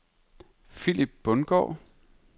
Philip Bundgaard